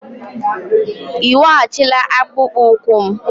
Ị weghachila akpụkpọ ụkwụ m?